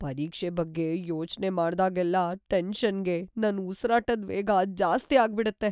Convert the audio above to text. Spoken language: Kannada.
ಪರೀಕ್ಷೆ ಬಗ್ಗೆ ಯೋಚ್ನೆ ಮಾಡ್ದಾಗ್ಲೆಲ್ಲ ಟೆನ್ಷನ್‌ಗೆ ನನ್ ಉಸ್ರಾಟದ್ ವೇಗ‌ ಜಾಸ್ತಿ ಆಗ್ಬಿಡತ್ತೆ.